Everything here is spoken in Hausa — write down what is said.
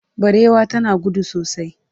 barewa tana gudu sosai